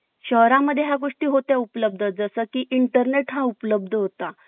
शहरा मध्ये या गोष्टी होते उपलब्ध जस की intenet हा उपलब्ध होता